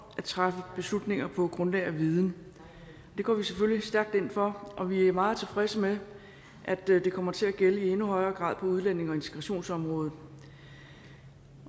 at træffe beslutninger på grundlag af viden det går vi selvfølgelig stærkt ind for og vi er meget tilfredse med at det kommer til at gælde i endnu højere grad på udlændinge og integrationsområdet